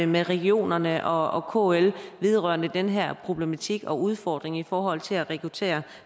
med regionerne og og kl vedrørende den her problematik og udfordring i forhold til at rekruttere